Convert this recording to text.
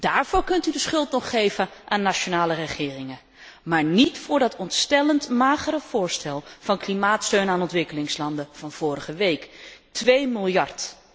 Daarvoor kunt u de schuld nog geven aan nationale regeringen, maar niet voor dat ontstellend magere voorstel van klimaatsteun aan ontwikkelingslanden van vorige week 2 miljard.